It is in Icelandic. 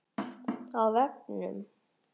Á vefnum